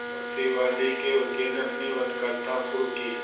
प्रतिवादी के वकील ने अपनी वक्तृता शुरु की